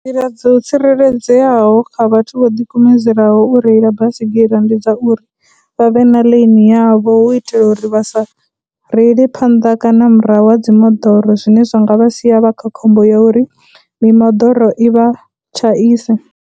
Nḓila dzo tsireledzeaho kha vhathu vho dikumedzelaho u reila basigira ndi dza uri vha vhe na lane yavho hu u itela uri vha sa reile phanḓa kana murahu ha dzimoḓoro, zwine zwa nga vha sia vha kha khombo ya uri mimoḓoro i vha tshaise.